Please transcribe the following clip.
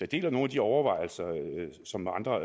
deler nogle af de overvejelser som andre